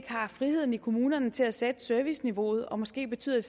har friheden i kommunerne til at sætte serviceniveauet og måske betyder